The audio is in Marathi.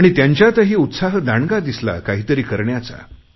आणि त्यांच्यातही उत्साह दांडगा दिसला काही तरी करण्याचा